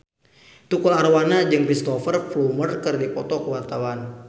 Tukul Arwana jeung Cristhoper Plumer keur dipoto ku wartawan